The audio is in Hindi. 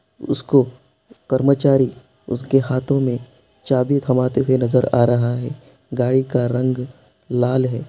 उसको कर्मचारी उसके हाथो में चाबी थमाते हुए नज़र आ रहा है गाड़ी का रंग लाल है।